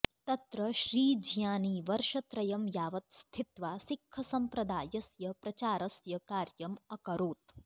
तत्र श्रीज्ञानी वर्षत्रयं यावत् स्थित्वा सिक्खसम्प्रदायस्य प्रचारस्य कार्यम् अकरोत्